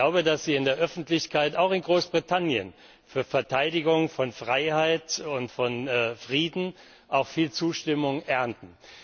Ich glaube, dass Sie in der Öffentlichkeit, auch in Großbritannien, für Verteidigung von Freiheit und von Frieden auch viel Zustimmung ernten.